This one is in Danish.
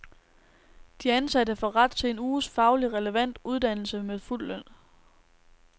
De ansatte får ret til en uges faglig relevant uddannelse med fuld løn.